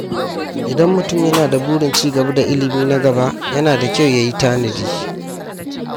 Idan mutum yana da burin ci gaba da ilimi na gaba, yana da kyau ya yi tanadi.